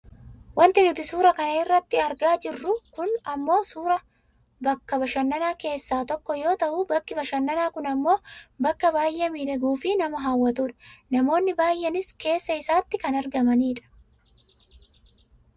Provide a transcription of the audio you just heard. Wanti nuti suuraa kana irratti argaa jirru kun ammoo suuraa bakka bashananaa keessaa tokko yoo ta'u bakki bashananaa kun ammoo bakka baayyee miidhaguufi nama hawwatudha manoonni baayyeenis keessa isaatti kan argamanidha.